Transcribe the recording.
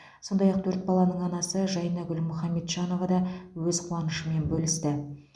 сондай ақ төрт баланың анасы жайнагүл мұхаметжанова да өз қуанышымен бөлісті